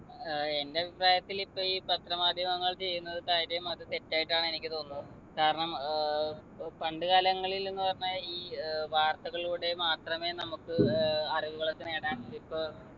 ഏർ എൻ്റെ അഭിപ്രായത്തിലിപ്പൊ ഈ പത്ര മാധ്യമങ്ങൾ ചെയ്യുന്നത് കാര്യം അത് തെറ്റായിട്ടാണ് എനിക്ക് തോന്നുന്നത് കാരണം ഏർ ഏർ പണ്ട് കാലങ്ങളിൽന്നു പറഞ്ഞാൽ ഈ ഏർ വാർത്തകളിലൂടെ മാത്രമേ നമ്മുക് ഏർ അറിവുകളൊക്കെ നേടാൻ ക്ഷെ ഇപ്പൊ